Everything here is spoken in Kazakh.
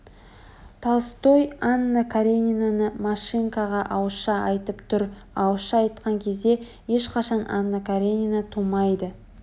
толстой анна каренинаны машинкаға ауызша айтып тұр ауызша айтқан кезде ешқашан анна каренина тумайды